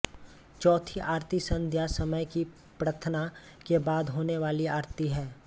चौथी आरती संध्या समय की प्रार्थना के बाद होने वाली आरती है